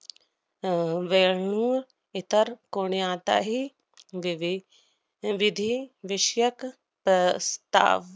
अह व्यं~ इतर कोण्याचाही विवे~ विधी विषयक प्रस्ताव